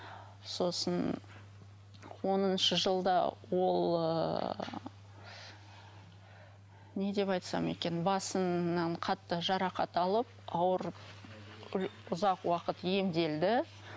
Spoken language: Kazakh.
сосын оныншы жылда ол ыыы не деп айтсам екен басынан қатты жарақат алып ауырып ұзақ уақыт емделді